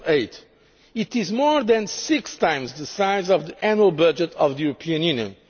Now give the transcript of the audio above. in 2008. It is more than six times the size of the annual budget of the European